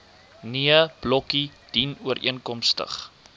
nee blokkie dienooreenkomstig